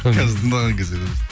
қазір тыңдаған кезде көресің